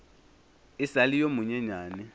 e sa le yo monyenyane